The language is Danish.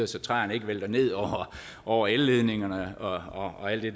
så træerne ikke vælter ned over elledningerne og og alt det